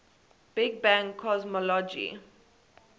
big bang cosmology